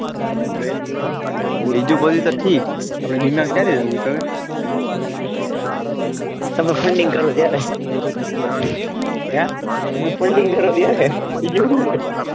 બીજું બોલ તો ઠીક આપડે બીના ક્યારે જાઉં કાકા filding કરવા ગયા તા હે filding કરવા ગયા તા